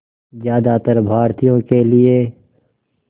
ज़्यादातर भारतीयों के लिए